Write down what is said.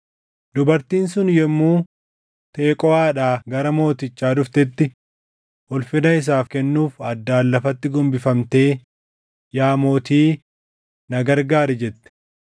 Dubartiin sun yommuu Teqooʼaadhaa gara mootichaa dhuftetti ulfina isaaf kennuuf addaan lafatti gombifamtee, “Yaa mootii, na gargaari!” jette.